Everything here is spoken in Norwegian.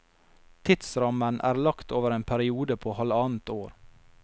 Tidsrammen er lagt over en periode på halvannet år.